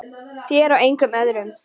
Þér og engum öðrum.